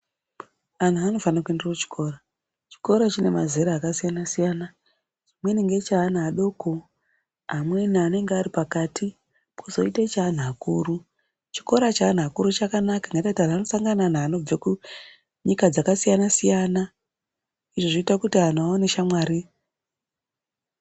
Anhu anofanire kuenda kuchikora chikora chine mazera kasiyana siyana chimweni ngecheana adoko amweni anenge ari pakati pozoite cheanhu akuru chikora cheanhu akuru chakanaka nekuti anosangana neanhu anobve kunyika dzakasiyanasiyana izvo zvinoite kuti anhu aone shamwari.